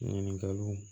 Ɲininkaliw